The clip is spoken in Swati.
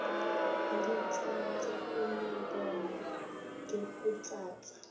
ngitsandza kunibonga ngekutsatsa